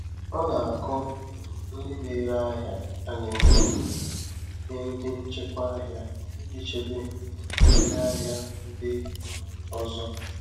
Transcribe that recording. Ọ na-akọ um ndị na-ere ahịa ana-enyo enyo nye ndị nchịkwa ahịa iji chebe um ndị ahịa ndị um ọzọ.